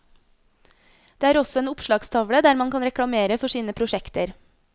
Det er også en oppslagstavle der man kan reklamere for sine prosjekter.